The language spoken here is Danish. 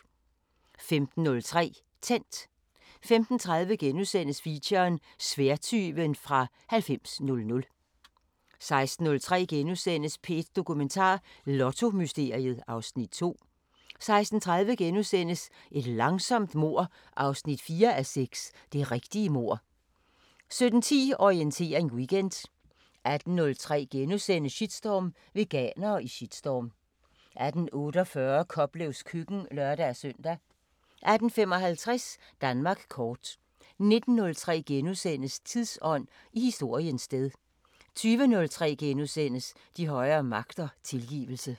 15:03: Tændt 15:30: Feature: Sværdtyven fra 9000 * 16:03: P1 Dokumentar: Lottomysteriet (Afs. 2)* 16:30: Et langsomt mord 4:6 – Det rigtige mord * 17:10: Orientering Weekend 18:03: Shitstorm: Veganere i shitstorm * 18:48: Koplevs køkken (lør-søn) 18:55: Danmark kort 19:03: Tidsånd: I historiens sted * 20:03: De højere magter: Tilgivelse *